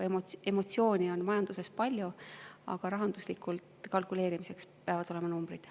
Emotsiooni on majanduses palju, aga rahanduslikult kalkuleerimiseks peavad olema numbrid.